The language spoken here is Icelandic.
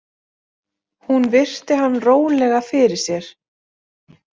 Hún virti hann rólega fyrir sér.